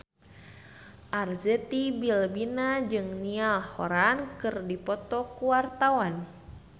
Arzetti Bilbina jeung Niall Horran keur dipoto ku wartawan